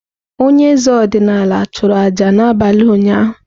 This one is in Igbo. Onye eze ọdịnala chụrụ aja n’abalị ụnyahụ.